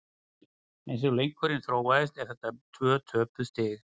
Eins og leikurinn þróaðist eru þetta tvö töpuð stig.